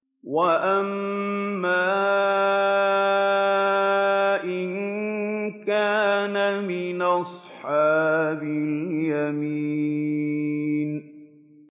وَأَمَّا إِن كَانَ مِنْ أَصْحَابِ الْيَمِينِ